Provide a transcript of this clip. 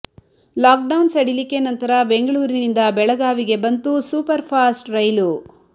lock down ಸಡಲಿಕೆ ನಂತರ ಬೆಂಗಳೂರಿನಿಂದ ಬೆಳಗಾವಿಗೆ ಬಂತು ಸೂಪರ್ ಫಾಸ್ಟ್ ರೈಲು